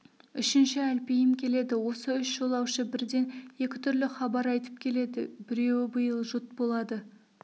үшінші әлпейім келеді осы үш жолаушы бірден екі түрлі хабар айтып келеді біреуі биыл жұт болады